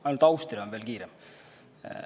Ainult Austria on veel kiirem.